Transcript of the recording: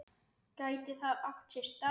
Gæti það átt sér stað?